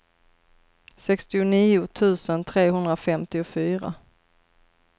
sextionio tusen trehundrafemtiofyra